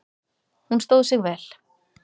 Hún stóð sig vel